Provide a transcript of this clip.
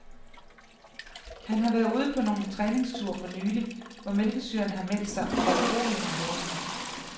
Han har været ude på nogle træningsture for nylig, hvor mælkesyren har meldt sig foruroligende hurtigt.